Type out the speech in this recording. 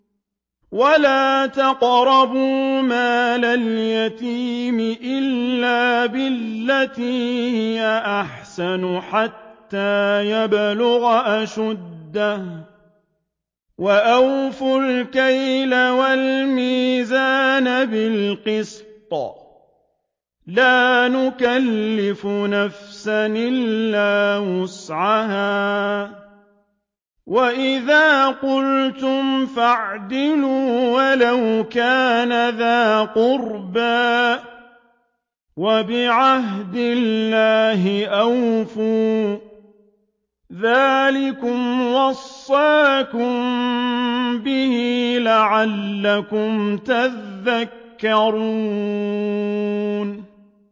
وَلَا تَقْرَبُوا مَالَ الْيَتِيمِ إِلَّا بِالَّتِي هِيَ أَحْسَنُ حَتَّىٰ يَبْلُغَ أَشُدَّهُ ۖ وَأَوْفُوا الْكَيْلَ وَالْمِيزَانَ بِالْقِسْطِ ۖ لَا نُكَلِّفُ نَفْسًا إِلَّا وُسْعَهَا ۖ وَإِذَا قُلْتُمْ فَاعْدِلُوا وَلَوْ كَانَ ذَا قُرْبَىٰ ۖ وَبِعَهْدِ اللَّهِ أَوْفُوا ۚ ذَٰلِكُمْ وَصَّاكُم بِهِ لَعَلَّكُمْ تَذَكَّرُونَ